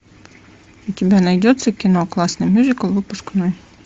у тебя найдется кино классный мюзикл выпускной